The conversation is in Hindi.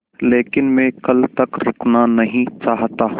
लेकिन मैं कल तक रुकना नहीं चाहता